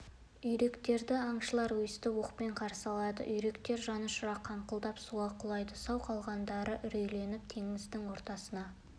үйректерді аңшылар өстіп оқпен қарсы алады үйректер жанұшыра қаңқылдап суға құлайды сау қалғандары үрейленіп теңіздің ортасына